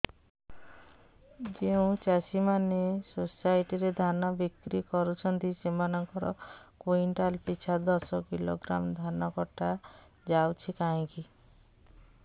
ଯେଉଁ ଚାଷୀ ମାନେ ସୋସାଇଟି ରେ ଧାନ ବିକ୍ରି କରୁଛନ୍ତି ସେମାନଙ୍କର କୁଇଣ୍ଟାଲ ପିଛା ଦଶ କିଲୋଗ୍ରାମ ଧାନ କଟା ଯାଉଛି କାହିଁକି